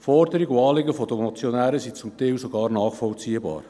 Die Forderungen und Anliegen der Motionäre sind zum Teil sogar nachvollziehbar.